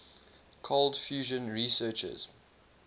cold fusion researchers